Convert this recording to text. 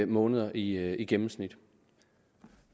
måneder i i gennemsnit